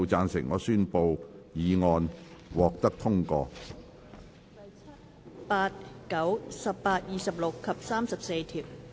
第7、8、9、18、26及34條。